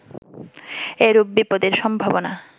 এরূপ বিপদের সম্ভাবনা